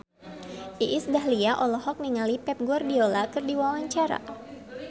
Iis Dahlia olohok ningali Pep Guardiola keur diwawancara